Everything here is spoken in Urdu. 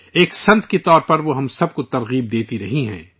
ایک سنت کے روپ میں بھی وہ ہم سب کو حوصلہ فراہم کرتی ہیں